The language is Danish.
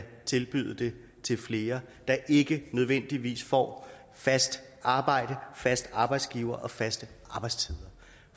tilbyde det til flere der ikke nødvendigvis får fast arbejde fast arbejdsgiver og faste arbejdstider